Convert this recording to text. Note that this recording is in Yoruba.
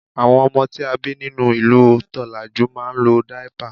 àwọn ọmọ tí a bi ninu ìlú tolaju ma n lo daipa